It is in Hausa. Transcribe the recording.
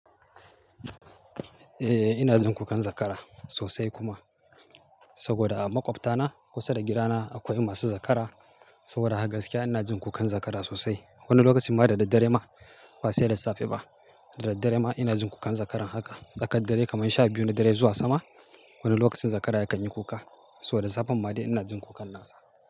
Eh ina jin kukan zakara sosai kuma. Saboda a maƙwabtana kusa da gidana akwai masu zakara. Saboda haka gaskiya ina jin kukan zakara sosai. Wani lokacin ma da daddare ma ba sai da safe ba. Da daddare ma ina jin kukan zakaran haka. Tsakad dare kaman sha biyu na dare zuwa sama wani lokacin zakara ya kan yi kuka. To da safan ma dai ina jin kukan nasa.